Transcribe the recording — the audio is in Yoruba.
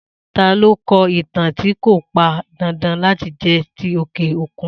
Ta lo kọ ìtàn tí kò pan dandan láti jẹ ti òkè òkun